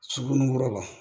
Suguninkura la